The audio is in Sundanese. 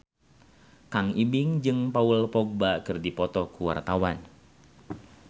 Kang Ibing jeung Paul Dogba keur dipoto ku wartawan